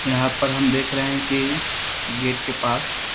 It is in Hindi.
यहाँ पर हम देख रहें हैं कि गेट के पास --